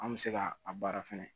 An bɛ se ka a baara fɛnɛ